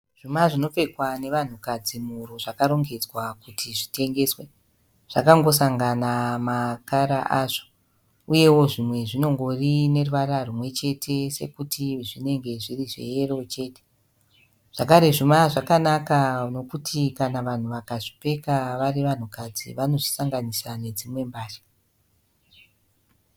Zvuma zvinopfekwa nevanhukadzi muhuro zvakarongedzwa kuti zvitengeswe . Zvakangosangana makara azvo . Uyewo zvimwe zvinongori neruvara rumwechete sekuti zvinenge zviri zveyero chete . Zvakare zvuma zvakanaka nekuti kana vanhu vakazvipfeka vari vanhukadzi vanozvisanganisa nedzimwe mbatya .